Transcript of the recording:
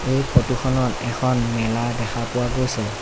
এই ফটো খনত এখন মেলা দেখা পোৱা গৈছে।